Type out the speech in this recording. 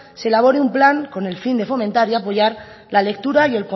se elabore un plan con el fin de fomentar y apoyar la lectura